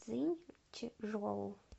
цзиньчжоу